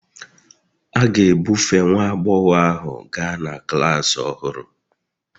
A ga-ebufe nwa agbọghọ ahu gaa na klas ọhụrụ